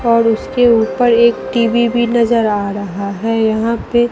और उसके ऊपर एक टी_वी भी नजर आ रहा है यहां पे--